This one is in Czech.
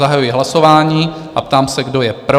Zahajuji hlasování a ptám se, kdo je pro.